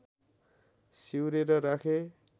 सिउरेर राखे